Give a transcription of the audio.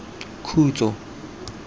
khutso